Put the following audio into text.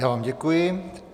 Já vám děkuji.